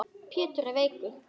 Pétur er veikur.